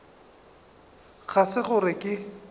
ga se gore ge ke